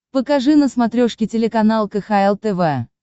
покажи на смотрешке телеканал кхл тв